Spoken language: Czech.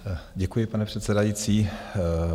Děkuji, pane předsedající.